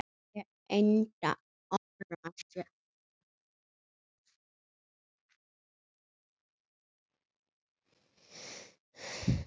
Hún reyndi að forða sér.